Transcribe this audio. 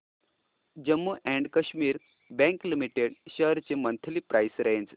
Jammu and Kashmir bank limited shares ची monthly price range